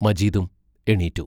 മജീദും എണീറ്റു.